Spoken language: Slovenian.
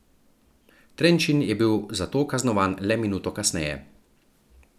Trenčin je bil za to kaznovan le minuto kasneje.